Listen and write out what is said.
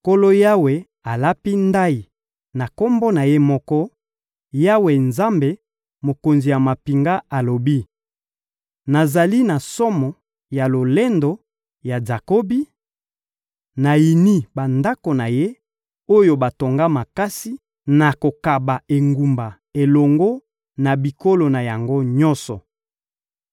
Nkolo Yawe alapi ndayi na Kombo na Ye moko; Yawe, Nzambe, Mokonzi ya mampinga, alobi: «Nazali na somo ya lolendo ya Jakobi, nayini bandako na ye, oyo batonga makasi; nakokaba engumba elongo na biloko na yango nyonso.»